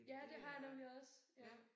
Ja det har jeg nemlig også ja